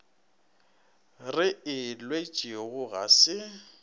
re e lwetšego ga se